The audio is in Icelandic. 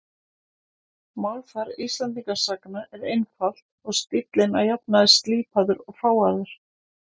Málfar Íslendingasagna er einfalt og stíllinn að jafnaði slípaður og fágaður.